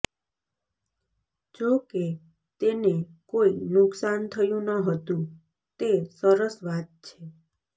જો કે તેને કોઈ નુકસાન થયુ ન હતુ તે સરસ વાત છે